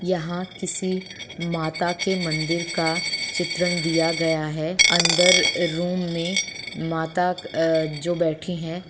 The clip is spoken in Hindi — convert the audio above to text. यहाँ किसी माता के मंदिर का चित्र दिया गया है अंदर रूम में माता अ जो बैठी है।